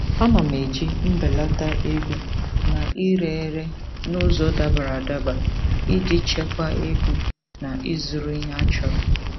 Ana m eji mbelata ego na ire ere n'ụzọ dabara adaba iji chekwaa ego na ịzụrụ ihe achọrọ.